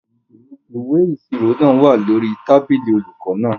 Ìwé ìṣirò náà wà lórí tábìlì olùkọ náà.